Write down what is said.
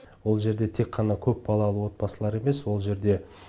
ол жерде тек қана көпбалалы отбасылар емес ол жерде